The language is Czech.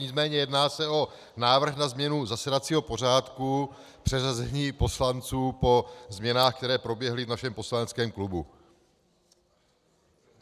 Nicméně jedná se o návrh na změnu zasedacího pořádku, přeřazení poslanců po změnách, které proběhly v našem poslaneckém klubu.